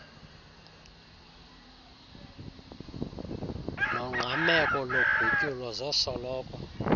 nongqameko logutyulo zosoloko